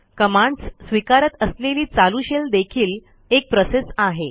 commands स्विकारत असलेली चालू शेल देखील एक प्रोसेस आहे